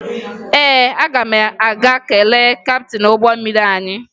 Ee, aga m aga kelee kaptịn ụgbọ mmiri anyị